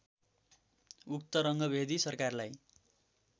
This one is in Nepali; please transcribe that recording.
उक्त रङ्गभेदी सरकारलाई